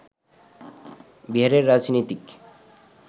বিহারের রাজনীতিক